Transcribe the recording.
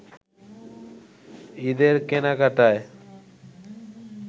ঈদের কেনাকাটায়